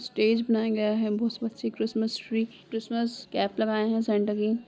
stage बनाया गया है बोहोत बच्चे क्रिसमस ट्री क्रिसमस केप लगाए है सेंटा की --